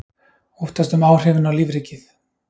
Óttast um áhrifin á lífríkið